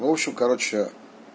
ну в общем короче